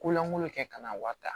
Ko lankolon kɛ ka n'a wa tan